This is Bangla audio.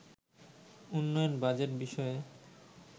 উন্নয়ন বাজেট বিষয়ে